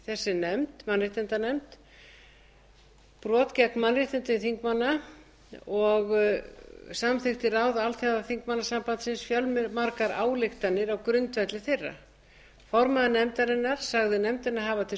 þessi mannréttindanefnd brot gegn mannréttindum þingmanna og samþykkti ráð alþjóðaþingmannasambandsins fjölmargar ályktanir á grundvelli þeirra formaður nefndarinnar sagði nefndina hafa til